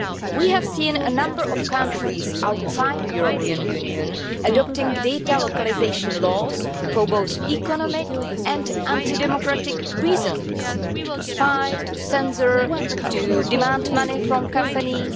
We have seen a number of countries outside the European Union adopting data localisation laws for both economic and anti democratic reasons to spy, to censor, to demand money from companies.